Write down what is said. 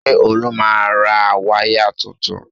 Ṣé Olú máa ra wáyà tuntun?